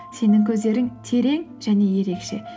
сенің көздерің терең және ерекше